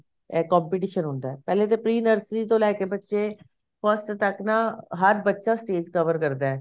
ਇਹ competition ਹੁੰਦਾ ਪਹਿਲੇ ਤੇ pre nursery ਤੋਂ ਲੈਕੇ ਬੱਚੇ first ਤੱਕ ਨਾ ਹਰੇਕ ਬੱਚਾ stage cover ਕਰਦਾ